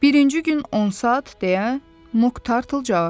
Birinci gün 10 saat, deyə Mok Tartıl cavab verdi.